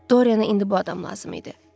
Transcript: Dorienə indi bu adam lazım idi.